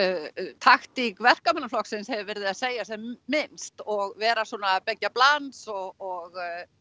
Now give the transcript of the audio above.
taktík Verkamannaflokksins hefur verið að segja sem minnst og vera svona beggja blands og